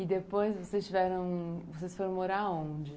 E depois vocês tiveram, foram morar onde?